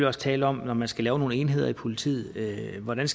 også tale om når man skal lave nogle enheder i politiet hvordan